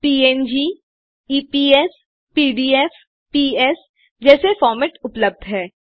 पंग EPS PDF PS जैसे format उपलब्ध हैं